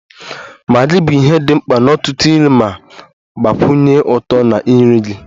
Maggi bụ ihe dị mkpa n'ọtụtụ nri ma gbakwunye ụtọ na nri gị.